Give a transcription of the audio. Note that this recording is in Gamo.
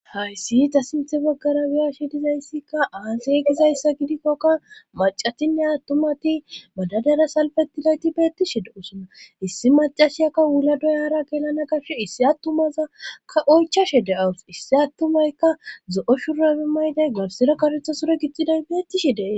Hayssi ta sinthe baggara wiyashi dizayssikka aasey gizayssa gidikkokka macatinne attumati madadara salfetilayti beettishe de'usona issi macashiyakka wula doyara gelana gabshe issi attumazakka oychashe de'awus issi attumaykka zo'o shurabe mayday garsira karetha sure gittiday beettishi dee.